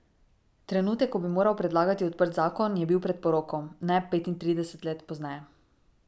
Trenutek, ko bi moral predlagati odprt zakon, je bil pred poroko, ne petintrideset let pozneje.